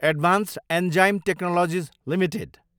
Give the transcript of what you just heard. advanced enzyme technologies Ltd